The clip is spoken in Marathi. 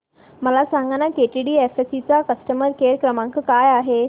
मला सांगाना केटीडीएफसी चा कस्टमर केअर क्रमांक काय आहे